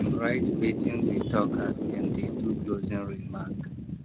dem write wetin we talk as dem dey do closing remark